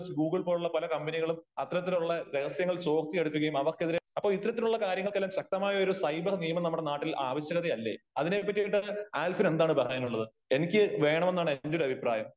Google പോലുള്ള പല കമ്പനികളിലും അത്തരത്തിലുള്ള രഹസ്യങ്ങൾ ചോർത്തിയെടുക്കുകയും അവർക്കെതിരെ അപ്പോ ഇത്തരത്തിലുള്ള കാര്യങ്ങലക്കെല്ലാം ശക്തമായ ഫൈബർ നിയമം നമ്മുടെ നാട്ടിൽ ആവ ശ്യമല്ലേ? അതിനെ പറ്റിയിട്ട് ആൽഫിന് എന്താണ് പറയാനുള്ളത് ?എനിക്ക് വേണമെന്നാണ് എന്റെ ഒരു അഭിപ്രായം .